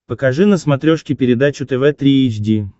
покажи на смотрешке передачу тв три эйч ди